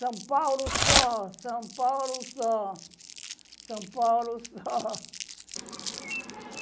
São Paulo só, São Paulo só, São Paulo só.